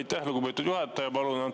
Aitäh, lugupeetud juhataja!